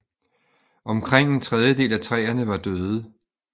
Omkring en tredjedel af træerne var døde